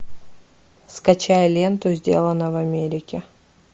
скачай ленту сделано в америке